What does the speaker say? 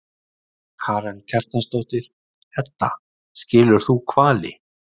Karen Kjartansdóttir: Edda, skilur þú hvali?